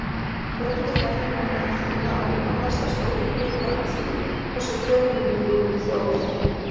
Fjöldi fæðinga meðal þjóða ákvarðast að stórum hluta af því hversu fjölmenn viðkomandi þjóð er.